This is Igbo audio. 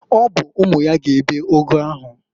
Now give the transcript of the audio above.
Ọ bụ umu ya ga ebe ụgụ ahụ.